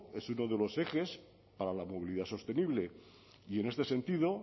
es uno de los ejes para la movilidad sostenible y en este sentido